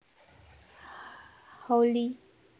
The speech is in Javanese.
Hawley